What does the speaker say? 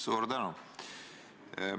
Suur tänu!